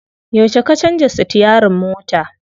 Yauce ka canza sitiyarin mota?